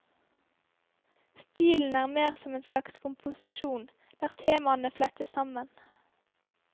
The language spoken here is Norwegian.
Stilen er mer som en slags komposisjon, der temaene flettes sammen.